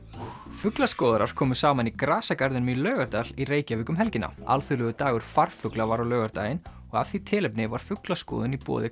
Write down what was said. fuglaskoðarar komu saman í grasagarðinum í Laugardal í Reykjavík um helgina alþjóðlegur dagur farfugla var á laugardaginn og af því tilefni var fuglaskoðun í boði